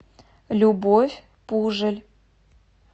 любовь пужель